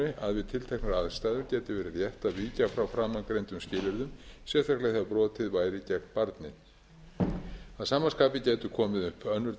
að við tilteknar aðstæður gæti verið rétt að víkja frá framangreindum skilyrðum sérstaklega ef brotið væri gegn barni að sama skapi gætu komið upp önnur